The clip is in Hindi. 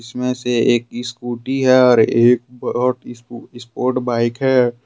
इसमें से एक स्कूटी है और एक स्पोर्ट बाइक है।